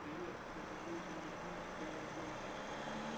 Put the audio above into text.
привет кто такой бенедикт камбербэтч